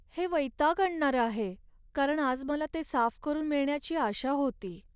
हे वैताग आणणारं आहे, कारण आज मला ते साफ करून मिळण्याची आशा होती..